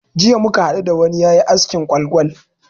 Jiya muka hadu da wani yayi askin kwal-kwal.